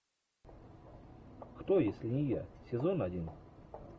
кто если не я сезон один